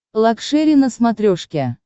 лакшери на смотрешке